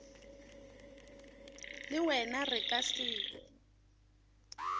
le wena re ka se